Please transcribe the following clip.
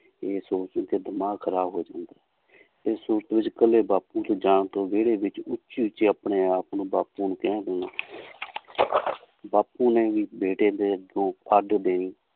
ਇਹ ਸੂਰਤ ਵਿੱਚ ਦਿਮਾਗ ਖ਼ਰਾਬ ਹੋ ਜਾਂਦਾ ਇਸ ਸੂਰਤ ਵਿੱਚ ਇਕੱਲੇ ਬਾਪੂ ਦੇ ਜਾਣ ਤੋਂ ਵਿਹੜੇ ਵਿੱਚ ਉੱਚੀ ਉੱਚੀ ਆਪਣੇ ਆਪ ਨੂੰ ਬਾਪੂ ਨੂੰ ਕਹਿ ਦੇਣਾ ਬਾਪੂ ਨੇ ਵੀ ਬੇਟੇ ਦੇ ਦੇਣੀ